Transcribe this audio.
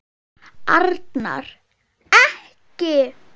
Arnar. ekki!